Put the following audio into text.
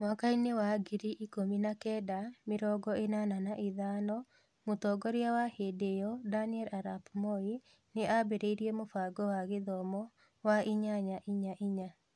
Mwakainĩ wa ngiri ikũmi na kenda mĩrongo ĩnana na ithano, Mũtongoria wa hĩndĩ ĩyo Daniel Arap Moi nĩ aambĩrĩirie mũbango wa gĩthomo wa inyanya-inya-inya.